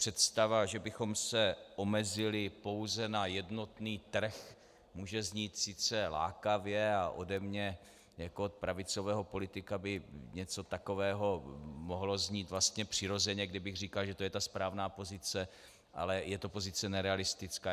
Představa, že bychom se omezili pouze na jednotný trh, může znít sice lákavě a ode mne jako od pravicového politika by něco takového mohlo znít vlastně přirozeně, kdybych říkal, že to je ta správná pozice, ale je to pozice nerealistická.